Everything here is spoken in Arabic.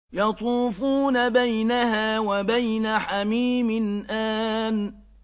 يَطُوفُونَ بَيْنَهَا وَبَيْنَ حَمِيمٍ آنٍ